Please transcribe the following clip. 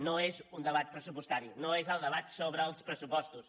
no és un debat pressupostari no és el debat sobre els pressupostos